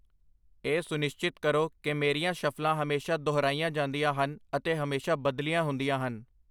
ਇਹ ਸੁਨਿਸ਼ਚਿਤ ਕਰੋ ਕਿ ਮੇਰੀਆਂ ਸ਼ੱਫਲਾਂ ਹਮੇਸ਼ਾਂ ਦੁਹਰਾਈਆਂ ਜਾਂਦੀਆਂ ਹਨ ਅਤੇ ਹਮੇਸ਼ਾਂ ਬਦਲੀਆਂ ਹੁੰਦੀਆਂ ਹਨ